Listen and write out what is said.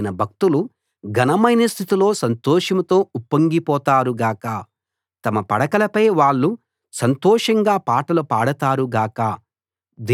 ఆయన భక్తులు ఘనమైన స్థితిలో సంతోషంతో ఉప్పొంగిపోతారు గాక తమ పడకలపై వాళ్ళు సంతోషంగా పాటలు పాడతారు గాక